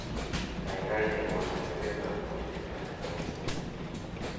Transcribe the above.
gaigai cheng'won atebet ab koristo nepo wigini